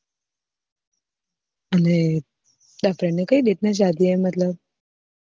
અને તારા friend કઈ date ની શાદી હે મતલબ